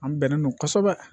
An bɛnnen don kosɛbɛ